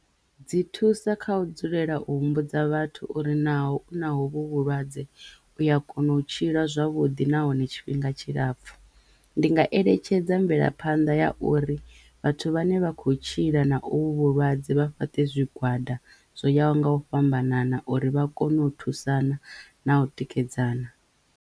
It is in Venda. Dzi thusa kha u dzulela u humbudza vhathu uri naho u nahovho vhulwadze uya kona u tshila zwavhuḓi na hone tshifhinga tshilapfu ndi nga eletshedza mvelaphanḓa ya uri vhathu vhane vha kho tshila na ovhu vhulwadze vha fhate zwigwada zwo yaho nga u fhambanana uri vha kono u thusana na u tikedzana.